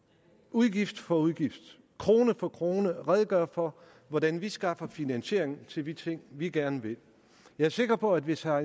udgift for udgift krone for krone redegør for hvordan vi skaffer finansiering til de ting vi gerne vil jeg er sikker på at hvis herre